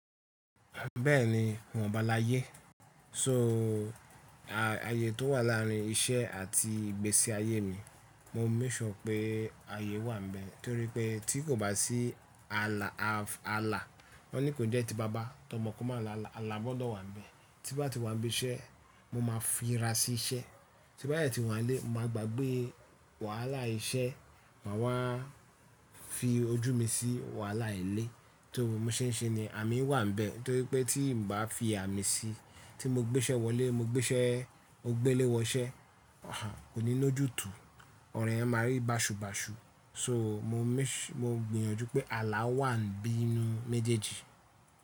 Bẹ́ẹ̀ni, iwọ́n ba láyé. So, ààyè tó wà láàárín iṣẹ́ àti ìgbésí ayé mi, mo make sure pé ààyè wà ń bẹ́ẹ̀ torí pé tí kò bá sí ààlà, wọ́n ní kò jẹ́ ti baba ti ọmọ kọ́ ma lála, ààlà gbọ́dọ̀ wà ń bẹ́ẹ̀. Tí bá ti wà níbi iṣẹ́, mo máa fi ra sí iṣẹ́. Tí bá dẹ ti wà nílé, mo máa gbàgbé wàhálà iṣẹ́ máa wá fi ojú mi sí wàhálà ilé. So mo ṣe ń ṣe niyen ami wà ń bẹ́ẹ̀ torí pé tí n bá fi àmì sí, tí mo gbé iṣẹ́ wọlé, mo gbé iṣẹ́, mo gbé ilé wọ iṣẹ́, hà kò ní lójú tu, ọ̀ro yen máa rí bàṣubàṣu. So, mo gbìyànjú pé ààlà wà nínú méjèèjì.